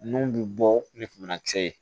Nun bi bɔ ni banakisɛ ye